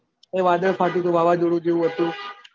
એ વાદળ ફાટ્યું હતું વાવાઝોડું જેવું હતું